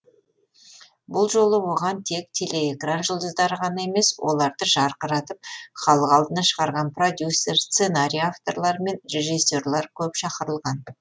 бұл жолы оған тек телеэкран жұлдыздары ғана емес оларды жарқыратып халық алдына шығарған продюсер сценарий авторлары мен режиссерлар көп шақырылған